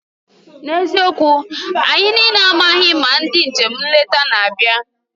N'eziokwu! anyị niile amaghị ma ndị njem nleta na-abịa.